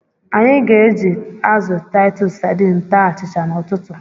Anyị ga-eji azụ Titus Sadin taa achịcha n'ụtụtụ.